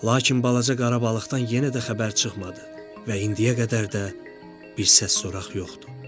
Lakin balaca qara balıqdan yenə də xəbər çıxmadı və indiyə qədər də bir səs-soraq yoxdu.